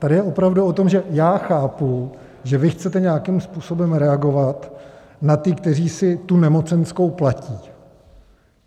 Tady je opravdu o tom, že já chápu, že vy chcete nějakým způsobem reagovat na ty, kteří si tu nemocenskou platí.